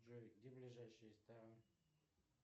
джой где ближайший ресторан